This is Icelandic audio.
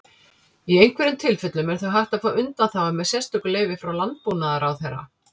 Í einhverjum tilfellum er þó hægt að fá undanþágu með sérstöku leyfi frá Landbúnaðarráðherra.